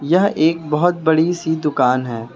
यह एक बहुत बड़ी सी दुकान है।